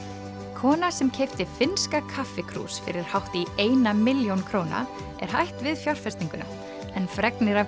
kona sem keypti finnska fyrir hátt í eina milljón króna er hætt við fjárfestinguna en fregnir af